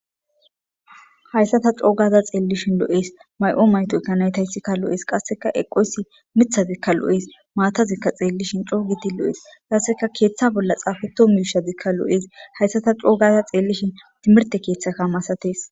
hayssa ta coogaza xeellishin lo7ees may7o mayto kanaytayssikka lo7ees qasseka eqoysi mithazikka lo7ees maatazikka xeellishin coogiti lo7ees qasseka keeththa bolla xaafeto muishazikka lo7ees hayssa ta coogaza xeellishin timirte keeththaka masatees